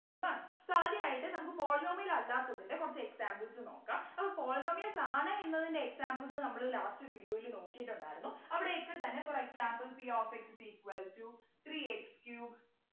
ആണ് so ആദ്യായിട്ട് നമുക്ക് Polynomial അല്ലാത്തതിൻ്റെ കുറച്ചു examples നോക്കാം അപ്പൊ Polynomials ആണ് എന്നതിന്റെ examples നമ്മള് last video ൽ നോക്കിട്ടുണ്ടായിരുന്നു അവിടെ x തന്നെ For example P of x is equal to three x cube